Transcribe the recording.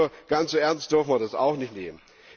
Also, ganz so ernst dürfen wir das auch nicht nehmen.